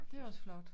Det også flot